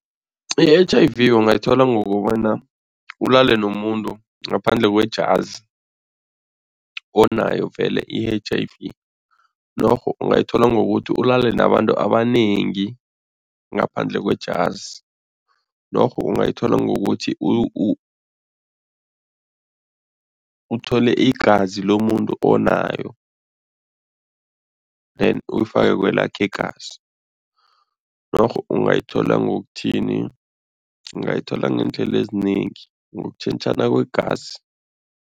I-H_I_V ungayithola ngokobana ulale nomuntu ngaphandleke kwejazi, onayo vele i-H_I_V norho ungayithola ngokuthi ulale nabantu abanengi ngaphandle kwejazi norho ungayithola ngokuthi uthole igazi lomuntu onayo then uyifake kwelakho igazi, norho ungayithola ngokuthini. Ungayithola ngeendlela ezinengi, ngokutjhentjhana kwegazi.